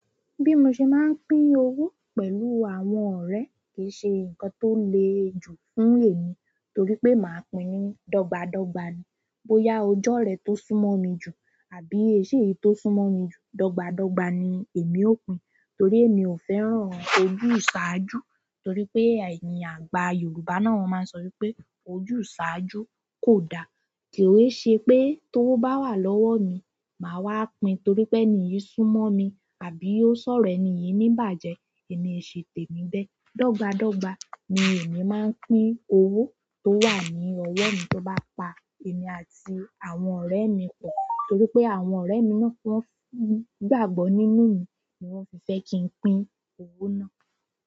Bí mo ṣe máa ń pín owó pẹ̀lú àwọn ọ̀rẹ́ kì í ṣe nǹkan tó le jù fún èmi torí pé màá pín ní dọ́gba dọ́gba ni. Bóyá ò jorẹ̀ tó súnmọ́ mi jù àbí o ii seyi tó sún mọ́ mi jù, dọ́gba dọ́gba ni èmi ó pín torí èmi ò fẹ́ràn ojúṣàájú torí pé ẹ̀yin àgbà Yorùbá náà máa ń sọ wípé ojúṣàájú kò da. Kì ó ṣe pé tówo ba wà lọ́wọ́ mi, màá wá pín torí pé ènìyí sún mọ́ mi àbí ó sọ̀rọ̀ ènìyí ní ìbàjẹ́, èmi o se tèmí bẹ́ẹ̀. Dọ́gba dọ́gba ni èmi máa ń pín owó tó wà ní ọwọ́ mi tó bá pa èmi àti àwọn ọ̀rẹ́ mi pọ̀ torí pé àwọn ọ̀rẹ́ mi náà kí wọ́n gbàgbọ́ nínú mi ni wọ́n fi fẹ́ kí n pín owó náà.